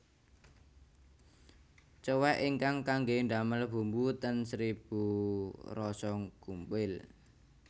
Cowek ingkang kangge ndamel bumbu ten Seribu Rasa gumpil